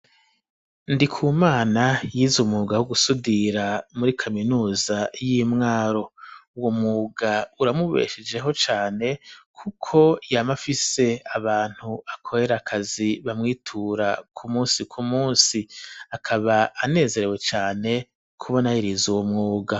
Ndikumana yize umwuga wo gusudira muri kaminuza y'imwaro uwo mwuga uramubeshejeho cane kuko yamafise abantu akorera akazi bamwitura ku munsi ku munsi akaba anezerewe cane kubona yariza uwo mwuga.